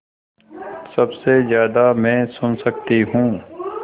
सबसे ज़्यादा मैं सुन सकती हूँ